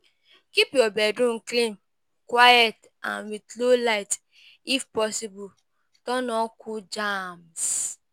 Keep your bedroom clean, quiet and with low light, if possible turn on cool jams